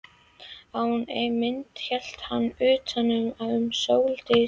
Á einni myndinni hélt hann utan um Sóldísi.